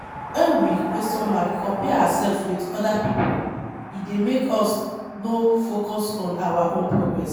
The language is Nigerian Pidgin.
When we compare ourselves with oda pipo, e dey make us no focus on our own progress